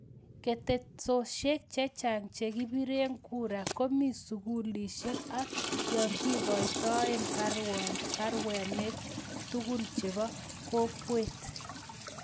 Ketesiosiek chechang chekipiree kuraa komii sukulisiek ak yekikoitoe parainwek tugul chepo kokweet